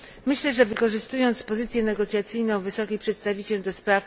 Myślę, że wykorzystując pozycję negocjacyjną wysokiej przedstawiciel ds.